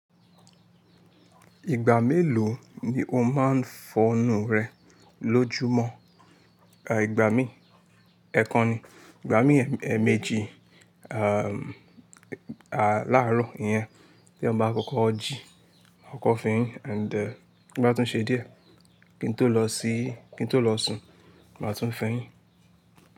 Ìgbà mélòó ni o máa ń fọnu rẹ lójúmọ̀? Ìgbà míi, ẹ̀ekan ni, ìgbà míi èèmejì, à, láárọ̀, ìyẹn tí èèyàn bá kọkọ jí, màá kọkọ́ fọ eyín and tí ó bá tún ṣe díẹ̀, kí n tó lọ síí-- kí n tó lọ sùn, màá tún fọ eyín.